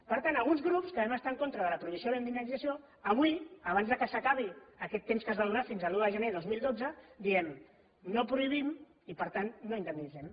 per tant alguns grups que vam estar en contra de la prohibició i la indemnització avui abans que s’acabi aquest temps que es va donar fins a l’un de gener de dos mil dotze diem no prohibim i per tant no indemnitzem